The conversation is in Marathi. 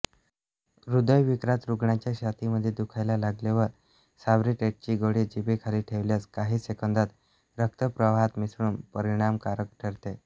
हृदयविकारात रुग्णाच्या छातीमध्ये दुखायला लागल्यावर सॉर्बिट्रेट्ची गोळी जिभेखाली ठेवल्यास काहीं सेकंदात रक्तप्रवाहात मिसळून परिणामकारक ठरते